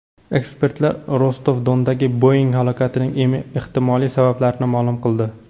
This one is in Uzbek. Ekspertlar Rostov-Dondagi Boeing halokatining ehtimoliy sabablarini ma’lum qildi.